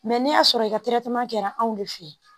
Mɛ n'i y'a sɔrɔ i ka kɛra anw de fe ye